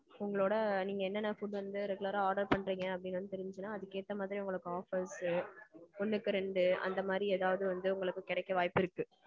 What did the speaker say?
உங்களோட நீங்க என்ன என்ன food வந்து regular அ order பண்றீங் அப்படின்னு வந்து தெரிஞ்சதுனா அதுக்கு ஏத்த மாதிரி offers ஒண்ணுக்கு ரெண்டு அந்த மாறி ஏதாவது வந்து உங்களுக்கு கிடைக்க வாய்ப்பு இருக்கு.